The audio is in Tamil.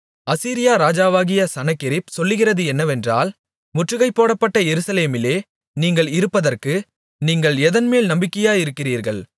அசீரியா ராஜாவாகிய சனகெரிப் சொல்லுகிறது என்னவென்றால் முற்றுகை போடப்பட்ட எருசலேமிலே நீங்கள் இருப்பதற்கு நீங்கள் எதன்மேல் நம்பிக்கையாயிருக்கிறீர்கள்